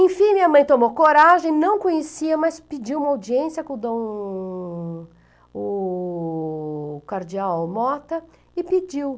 Enfim, minha mãe tomou coragem, não conhecia, mas pediu uma audiência com Dom o Cardeal Mota e pediu.